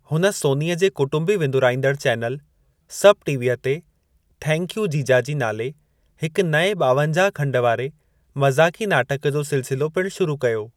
हुन सोनीअ जे कुटुंबी विंदुराईंदड़ चैनल, सब टीवीअ ते थैंक यू जीजाजी नाले हिक नए ॿावंजाह-खंड वारे मज़ाक़ी नाटक जो सिलसिलो पिणु शुरू कयो।